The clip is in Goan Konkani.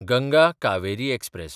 गंगा कावेरी एक्सप्रॅस